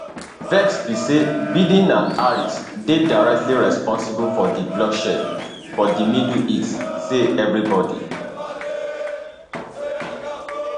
vex be say biden and harris dey directly responsible for di bloodshed for di middle east say evribodi